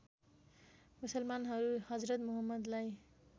मुसलमानहरू हजरत मुहम्मदलाई